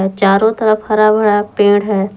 चारों तरफ हरा भरा पेड़ है।